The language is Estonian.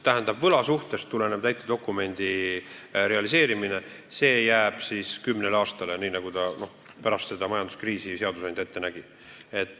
Tähendab, võlasuhtest tuleneva täitedokumendi realiseerimine jääb kümne aasta peale, nii nagu seadusandja pärast seda majanduskriisi ette nägi.